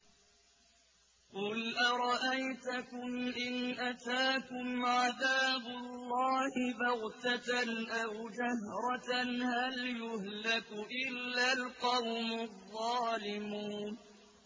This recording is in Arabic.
قُلْ أَرَأَيْتَكُمْ إِنْ أَتَاكُمْ عَذَابُ اللَّهِ بَغْتَةً أَوْ جَهْرَةً هَلْ يُهْلَكُ إِلَّا الْقَوْمُ الظَّالِمُونَ